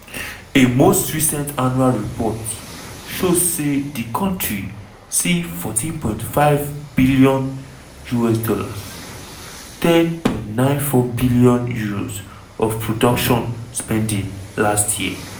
a most recent annual report show say di kontri see $14.54bn (£10.94bn) of production spending last year.